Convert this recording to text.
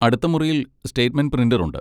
അടുത്ത മുറിയിൽ statement printer ഉണ്ട്.